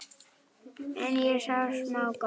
En ég sá smá glott.